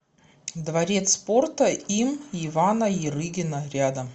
дворец спорта им ивана ярыгина рядом